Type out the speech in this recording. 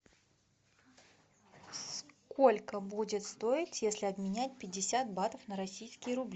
сколько будет стоить если обменять пятьдесят батов на российские рубли